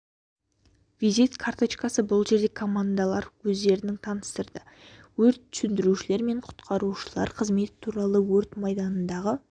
визит карточкасы бұл жерде командалар өздерін таныстырды өрт сөндірушілер мен құтқарушылар қызметі туралы айтты өрт майданындағы